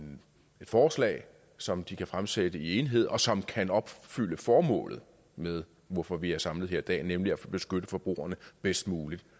forslag som de kan fremsætte i enighed og som kan opfylde formålet med hvorfor vi er samlet her i dag nemlig at beskytte forbrugerne bedst muligt